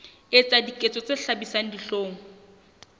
etsa diketso tse hlabisang dihlong